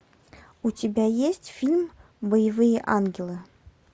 у тебя есть фильм боевые ангелы